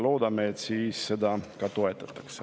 Loodame, et seda toetatakse.